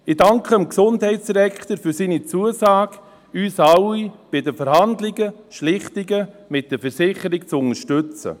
Ich danke dem Gesundheitsdirektor für seine Zusage, uns alle bei den Verhandlungen und Schlichtungen mit den Versicherungen zu unterstützen.